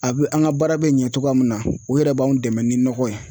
A bɛ an ka baara bɛ ɲɛ cogoya min na u yɛrɛ b'anw dɛmɛ ni nɔgɔ ye